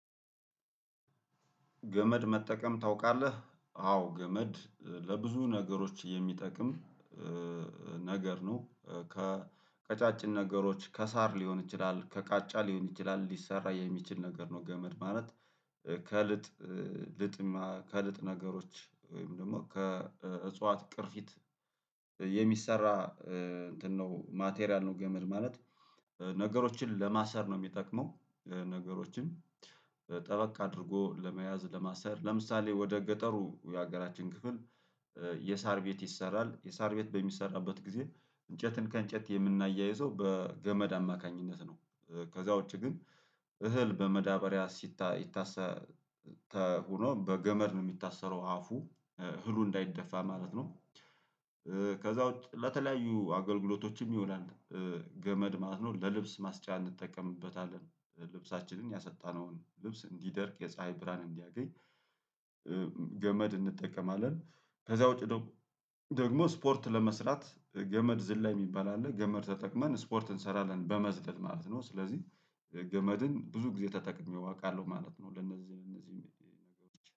ገመድ መጠቀም ታውቃለህ አዎ ገመድ ለብዙ ነገሮች የሚጠቅም ነገር ነው። ከቀጫጭን ነገሮች ከሳር ሊሆን ይችላል ከቃጫ ሊሆን ይችላል ሊሰራ የሚችል ነገር ነው። ገመድ ማለት ከልጥ ልጥማ ከልጥ ነገሮች ወይም ደግሞ ከእጽዋት ቅርፊት የሚሰራ እንትን ነው ማቴሪያል ነው ገመድ ማለት ነገሮችን ለማሰር ነው። የሚጠቅመው ነገሮችን ጠበቅ አድርጎ ለመያዝ ለማሰር ለምሳሌ ወደ ገጠሩ የሀገራችን ክፍል የሳር ቤት ይሰራል የሳር ቤት በሚሰራበት ጊዜ እንጨትን ከእንጨት የምናያይዘው በገመድ አማካኝነት ነው። ከዚያ ውጪ ግን እህል በመዳበሪያ ሲታሰተው ሆኖ በገመድ ነው የሚታሰረው አፉ እህሉ እንዳይደፋ ማለት ነው። ከዚያ ውጪ ለተለያዩ አገልግሎቶችም ይውላል። ገመድ ማለት ነው ለልብስ ማስጫ እንጠቀምበታለን ልብሳችንን ያሰጣነውን ልብስ እንዲደርቅ የፀሀይ ብርሃን እንዲያገኝ። ገመድ እንጠቀማለን። ከዚያ ውጪ ደግሞ ስፖርት ለመስራት ገመድ ዝላይ የሚባል አለ ገመድ ተጠቅመን ስፖርት እንሰራለን በመዝለል ማለት ነው። ስለዚህ ገመድን ብዙ ጊዜ ተጠቅሜው አውቃለሁ ማለት ነው። ለነዚህ እነዚህ ነገሮች